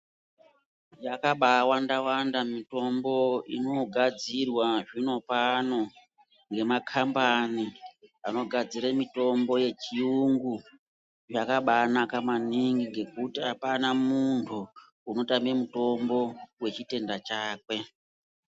Yakabawanda wanda mitombo inogadzirwa zvino pano nemakhampani anogadzire mitombo yechiyungu. Yakabanaka maningi ngekuti hapana munthu unotame mutombo wechitenda chake.